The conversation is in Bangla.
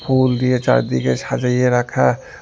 পুল দিয়ে চারদিগে সাজাইয়ে রাখা।